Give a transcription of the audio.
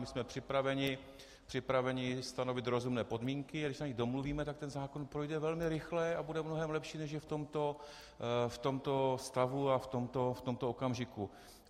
My jsme připraveni stanovit rozumné podmínky, když se na nich domluvíme, tak ten zákon projde velmi rychle a bude mnohem lepší, než je v tomto stavu a v tomto okamžiku.